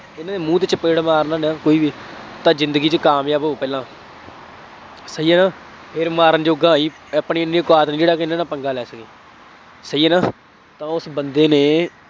ਉਹਨੇ ਮੂੰਹ ਤੇ ਚਪੇੜ ਮਾਰਨਾ ਹੁੰਦਾ ਕੋਈ ਵੀ, ਤਾਂ ਜ਼ਿੰਦਗੀ ਚ ਕਾਮਯਾਬ ਹੋ ਪਹਿਲਾਂ, ਸਹੀ ਹੈ ਨਾ ਫੇਰ ਮਾਰਨ ਜੋਗਾ ਹੋਈ, ਆਪਣੇ ਐਨੀ ਕੁ ਔਕਾਤ ਨਹੀਂ ਜਿਹੜਾ ਕਿ ਇਹਨਾ ਨਾਲ ਪੰਗਾ ਲੈ ਲਈਏ, ਸਹੀ ਹੈ ਨਾ, ਉਸ ਬੰਦੇ ਨੇ